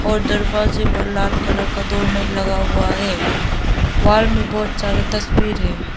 और दरवाजे पर लाल कलर का डोअर मैट लगा हुआ है वॉल में बहोत सारे तस्वीर है।